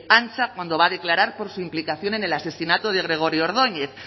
antza cuando va a declarar por su implicación en el asesinato de gregorio ordóñez